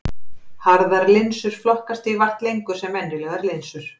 Harðar linsur flokkast því vart lengur sem venjulegar linsur.